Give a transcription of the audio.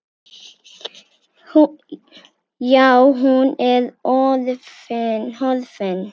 Já, hún er horfin.